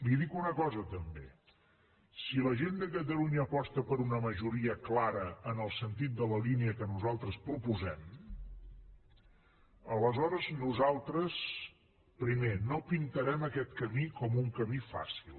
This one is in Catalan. li dic una cosa també si la gent de catalunya aposta per una majoria clara en el sentit de la línia que nosaltres proposem aleshores nosaltres primer no pintarem aquest camí com un camí fàcil